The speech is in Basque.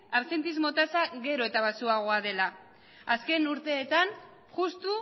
absentismo tasa gero eta baxuagoa dela azken urteetan justu